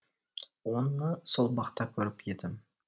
оны сол бақта көріп едім